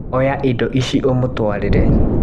Oya indo ici ũmũtwarĩre.